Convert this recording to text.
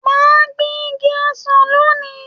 Mà á gbin igi ọsàn lóni.